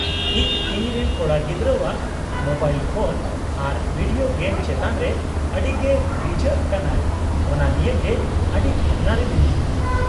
-ᱤᱧ ᱤᱧᱨᱮᱱ ᱠᱚᱲᱟᱜᱤᱫᱽᱨᱟᱹᱣᱟᱜ ᱢᱳᱵᱟᱭᱤᱞ ᱯᱷᱳᱱ ᱟᱨ ᱵᱷᱤᱰᱤᱭᱳ ᱜᱮᱢ ᱪᱮᱛᱟᱱ ᱨᱮ ᱟᱹᱰᱤ ᱜᱮ ᱨᱤᱡᱷᱟᱹᱜ ᱠᱟᱱᱟᱭ ᱚᱱᱟ ᱱᱤᱭᱮ ᱜᱮ ᱟᱹᱰᱤ ᱵᱷᱟᱵᱱᱟ ᱨᱮ ᱢᱤᱱᱟᱹᱧᱟ ᱾